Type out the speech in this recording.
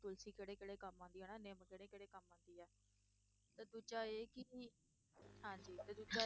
ਤੁਲਸੀ ਕਿਹੜੇ ਕਿਹੜੇ ਕੰਮ ਆਉਂਦੀ ਹੈ ਨਾ ਨਿੰਮ ਕਿਹੜੇ ਕਿਹੜੇ ਕੰਮ ਆਉਂਦੀ ਹੈ, ਤੇ ਦੂਜਾ ਇਹ ਕਿ ਵੀ ਹਾਂਜੀ ਤੇ ਦੂਜਾ